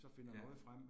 Ja